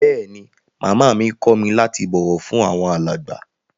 Bẹẹni, Máamá mi kọ mi lati bọwọ fun awọn alágba.